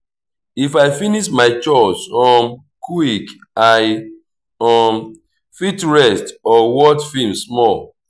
if i finish my chores um quick i um fit rest or watch film small.